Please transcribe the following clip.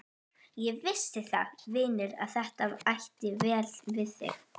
Ég vissi það, vinur, að þetta ætti vel við þig.